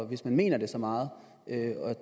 hvis man mener det så meget at